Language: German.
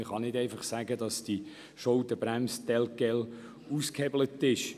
Man kann deshalb nicht sagen, die Schuldenbremse würde damit ausgehebelt.